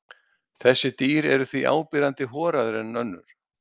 Þessi dýr eru því áberandi horaðri en önnur.